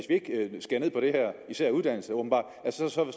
især uddannelse åbenbart